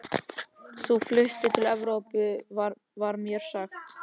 Þú fluttir til Evrópu, var mér sagt.